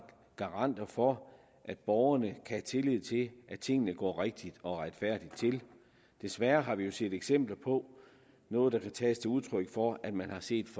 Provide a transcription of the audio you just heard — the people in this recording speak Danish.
garanter for at borgerne have tillid til at tingene går rigtigt og retfærdigt til desværre har vi jo set eksempler på noget der kan tages som udtryk for at man har set